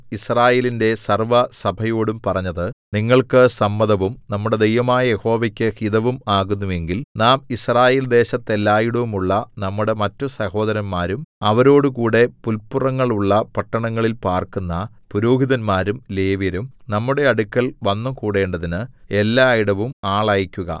യിസ്രായേലിന്റെ സർവ്വസഭയോടും പറഞ്ഞത് നിങ്ങൾക്ക് സമ്മതവും നമ്മുടെ ദൈവമായ യഹോവയ്ക്ക് ഹിതവും ആകുന്നു എങ്കിൽ നാം യിസ്രായേൽദേശത്തെല്ലാടവുമുള്ള നമ്മുടെ മറ്റ് സഹോദരന്മാരും അവരോടുകൂടെ പുൽപുറങ്ങളുള്ള പട്ടണങ്ങളിൽ പാർക്കുന്ന പുരോഹിതന്മാരും ലേവ്യരും നമ്മുടെ അടുക്കൽ വന്നുകൂടേണ്ടതിന് എല്ലാടവും ആളയക്കുക